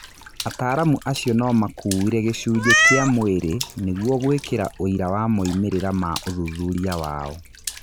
Ataaramu acio no makũire "Gĩcunjĩ" kĩa mwirĩ nĩguo gũĩkĩra ũira wa moimĩrĩra ma ũthuthuria wao.